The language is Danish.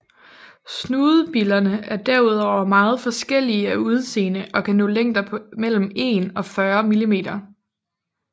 Snudebillerne er derudover meget forskellige af udseende og kan nå længder på mellem 1 og 40 mm